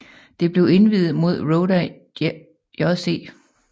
Det blev indviet mod Roda JC